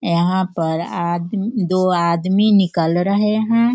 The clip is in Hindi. यहाँ पर आद दो आदमी निकल रहें हैं।